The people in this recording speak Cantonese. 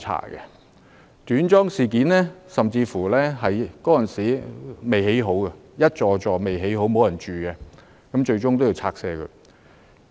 有關短樁事件，當時的房屋工程尚未完工，還沒有人入住，最終還是要拆卸。